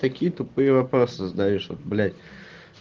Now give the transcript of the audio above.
такие тупые вопросы задаёшь вот блять